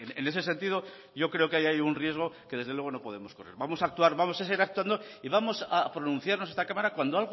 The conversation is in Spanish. en ese sentido yo creo que ahí hay un riesgo que desde luego no podemos correr vamos a actuar vamos a seguir actuando y vamos a pronunciarnos en esta cámara cuando